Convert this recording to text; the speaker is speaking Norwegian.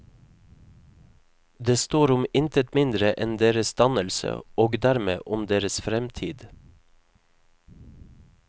Det står om intet mindre enn deres dannelse, og dermed, om deres fremtid.